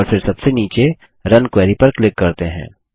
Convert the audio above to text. और फिर सबसे नीचे रुन क्वेरी पर क्लिक करते हैं